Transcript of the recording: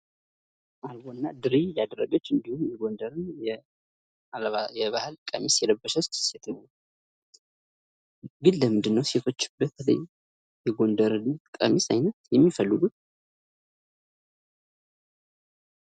አልቦ እና ድሪ ያደረገች እንዲሁም የጎንደርን የባህል ቀሚስ የለበሰች ሴት ነች። ግን ለምንድን ነው ሴቶች በተለይ የጎንደርን ቀሚስ አይነት የሚፈልጉት?